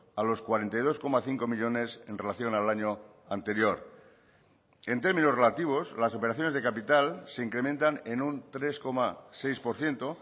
a los cuarenta y dos coma cinco millónes en relación al año anterior en términos relativos las operaciones de capital se incrementan en un tres coma seis por ciento